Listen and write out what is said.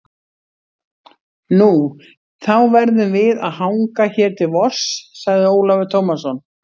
Nú, þá verðum við að hanga hér til vors, sagði Ólafur Tómasson.